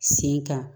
Sen kan